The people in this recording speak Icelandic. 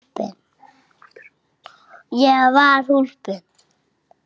Ég var hólpin.